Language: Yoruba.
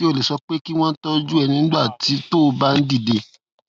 ṣé o lè sọ pé kí wón tójú ẹ nígbà tó o bá ń dìde